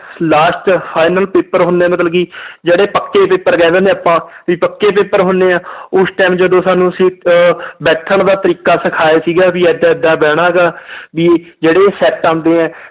Last final paper ਹੁੰਦੇ ਹੈ ਮਤਲਬ ਕਿ ਜਿਹੜੇ ਪੱਕੇ paper ਕਹਿ ਦਿੰਦੇ ਹਾਂ ਆਪਾਂ ਵੀ ਪੱਕੇ paper ਹੁੰਦੇ ਆ ਉਸ time ਜਦੋਂ ਸਾਨੂੰ ਅਸੀਂ ਅਹ ਬੈਠਣ ਦਾ ਤਰੀਕਾ ਸਿਖਾਇਆ ਸੀਗਾ ਵੀ ਏਦਾਂ ਏਦਾਂ ਬਹਿਣਾ ਗਾ ਵੀ ਜਿਹੜੇ set ਆਉਂਦੇ ਹੈ